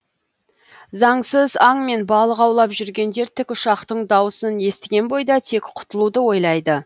заңсыз аң мен балық аулап жүргендер тікұшақтың дауысын естіген бойда тек құтылуды ойлайды